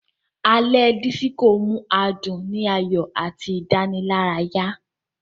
Alé Disiko mú adún ni ayọ àti Idanilaraya.